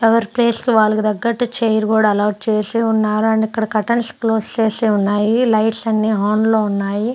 ఎవరి ప్లేసు లు వాళ్లకి తగ్గట్టు చైర్ కూడా అలాట్ చేసి ఉన్నారు అండ్ ఇక్కడ కర్టెన్స్ క్లోజ్ చేసి ఉన్నాయి లైట్స్ అన్ని ఆన్ లో ఉన్నాయి.